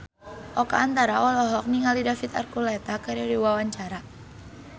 Oka Antara olohok ningali David Archuletta keur diwawancara